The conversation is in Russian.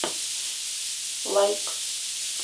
лайк